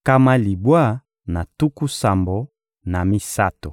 nkama libwa na tuku sambo na misato.